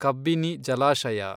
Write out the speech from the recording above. ಕಬ್ಬಿನಿ ಜಲಾಶಯ